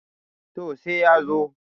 to sai ya zo